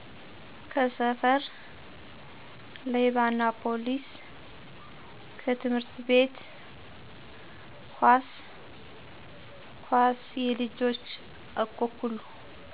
ከሰፈር -ሌባናፓሊስ ከትምህርት ቤት -ኮስ ኮስየልጆች-አኮኩሉ